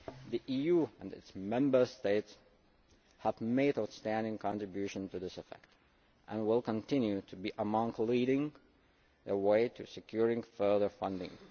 The EU and its Member States have made an outstanding contribution to this effect and will continue to be among those leading a way to securing further funding.